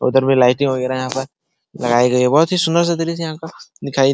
उधर भी लाइटें वगैरायहाँ पर लगाई गई है बहुत ही सुंदर सा दृश्य है यहाँ का दिखाई --